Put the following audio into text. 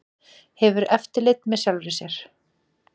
Hefur eftirlit með sjálfri sér